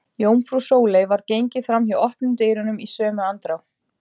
Jómfrú Sóley varð gengið fram hjá opnum dyrunum í sömu andrá.